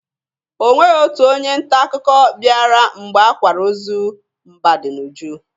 Onweghi otu onye nta akụkọ bịara mgbe akwara ozu Mbadinuju.